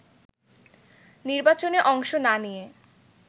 নির্বাচনে অংশ না নিয়ে